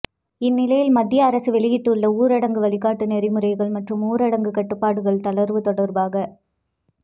இந்நிலையில் மத்திய அரசு வெளியிட்டுள்ள ஊரடங்கு வழிகாட்டு நெறிமுறைகள் மற்றும் ஊரடங்கு கட்டுப்பாடுகள் தளர்வு தொடர்பாக